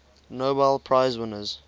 nobel prize winners